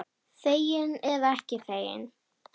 Þegin eða ekki þegin.